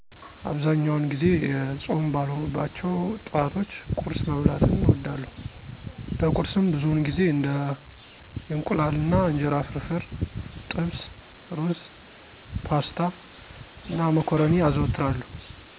አብዛኛውን ጊዜ ፆም ባልሆኑባቸው ጠዋቶች ቁርስ መብላትን እወዳለሁ። ለቁርስም ብዙውን ጊዜ እንደ የእንቁላል አና እንጀራ ፍርፍር፣ ጥብስ፣ ሩዝ፣ ፓስታ፣ እና መኮረኒ አዘወትራለሁ።